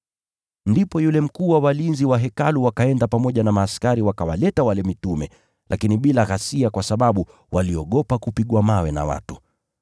Ndipo yule mkuu wa walinzi wa Hekalu wakaenda pamoja na askari wakawaleta wale mitume, lakini bila ghasia kwa sababu waliogopa kupigwa mawe na watu.